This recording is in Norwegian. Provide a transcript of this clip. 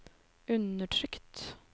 undertrykt